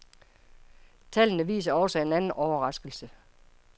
Tallene viser også en anden overraskelse.